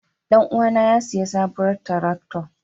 Ɗan uwana ya sayi sabuwar tarakta.